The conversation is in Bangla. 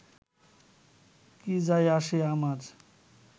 কী যায় আসে আমার